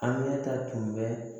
A ɲɛ ta tun bɛ